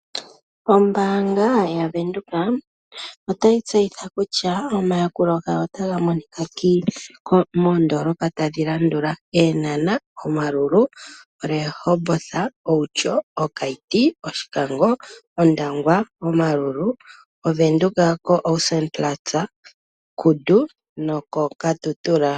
Ombaanga ya venduka otayi tseyitha kutya omayakulo gawo otaga monika moondoolopa tadhi landula:Eenhana, Maerua Mall, Rehoboth, Outjo, Keetmanshop, Oshoka go, Ondangwa, Omaruru, Windhoek Asspannplatz, Kudu, Katutura.